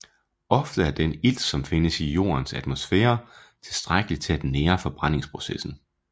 Ofte er den ilt som findes i Jordens atmosfære tilstrækkelig til at nære forbrændingsprocessen